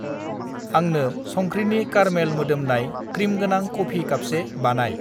आंनो संख्रिनि कार्मेल मोदोमनाय क्रिमगोनां कफि कापसे बानायह